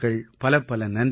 பலப்பல நன்றிகள்